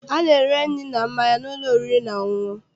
A na-ere nri na mmanya n'ụlọ oriri na ọṅụṅụ.